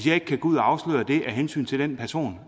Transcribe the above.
jeg ikke kan gå ud og afsløre det af hensyn til den person